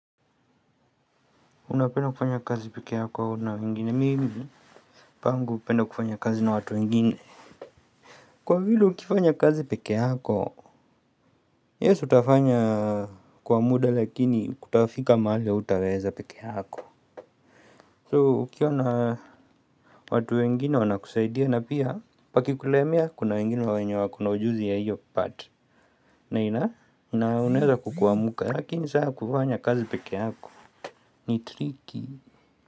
Unapenda kufanya kazi peke yako au na wengine mimi Pangu hupenda kufanya kazi na watu wengine. Kwa vile ukifanya kazi peke yako Yes utafanya kwa muda lakini kutafika mahali hautaweza peke yako So ukiwa na watu wengine wanakusaidia na pia pakikulemia kuna wengine wenyo wako na ujuzi ya hiyo part na inaweza kukuamka lakini sasa kufanya kazi peke yako ni tricky.